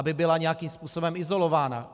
Aby byla nějakým způsobem izolována.